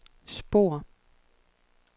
spor